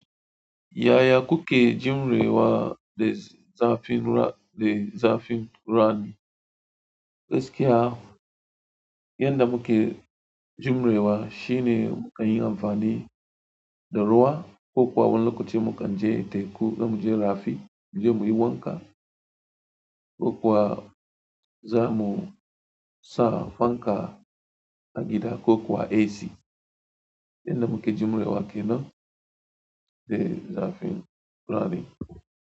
Yaya kukke jimre wa da zafi de zafin rani. Gaskiya yanda mukke jimre wa shine mu kan yi amfani da ruwa, kokuwa wani lokaci mu kan je teku za mu je rafi mu je mu yi wanka. Kokuwa zamu sa fanka a gida kokuwa AC. Yanda mukke jimre wa kenan de zafin rani.